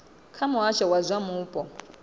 kha muhasho wa zwa mupo